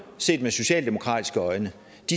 set med socialdemokratiske øjne